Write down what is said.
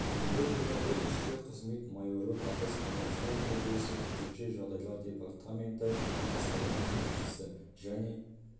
бүгінгі күні ол ішкі қызмет майоры батыс қазақстан облысы төтенше жағдайлар департаменті бастығының кеңесшісі және